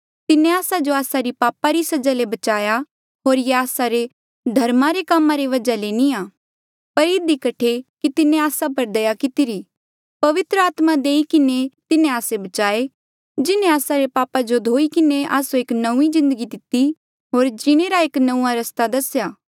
तिन्हें आस्सा जो आस्सा री पापा री सजा ले बचाया होर ये आस्सा रे धर्मा रे कामा री वजहा ले नी आ पर इधी कठे कि तिन्हें आस्सा पर दया कितिरी पवित्र आत्मा देई किन्हें तिन्हें आस्से बचाए जिन्हें आस्सा रे पापा जो धोई किन्हें आस्सो एक नौंईं जिन्दगी दिती होर जीणे रा एक नंऊँआं रस्ता दसेया